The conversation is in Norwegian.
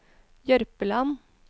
Jørpeland